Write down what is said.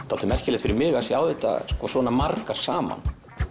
dálítið merkilegt fyrir mig að sjá þetta svona margar saman